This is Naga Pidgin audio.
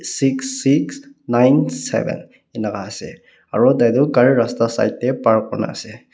six six nine seven enika ase aro tai toh gari rasta side tae park kurna ase.